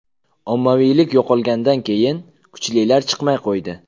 Ommaviylik yo‘qolgandan keyin, kuchlilar chiqmay qo‘ydi.